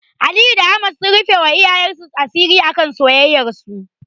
Aliyu da Fatima sun rufewa iyayensu asiri akan soyayyarsu.